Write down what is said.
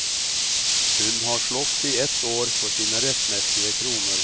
Hun har slåss i ett år for sine rettmessige kroner.